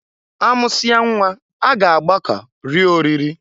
Amụsịa nnwa a ga-agbọka rie oriri.